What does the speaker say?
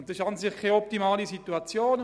Das ist an sich keine optimale Situation.